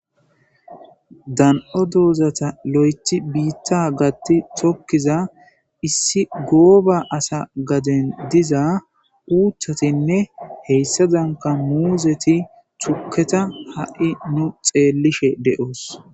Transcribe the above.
dan7o doozata lo7ethi biitta gatti tokkiza issi gooba asa gaden diza uuththatinne heyssa danka muuzeti tuketa ha7i nu xeellishe de7oos